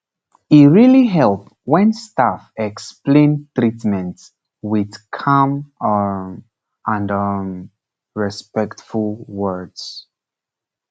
e really help when staff explain treatment with calm um and um respectful words